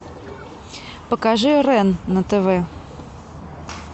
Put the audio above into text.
покажи рен на тв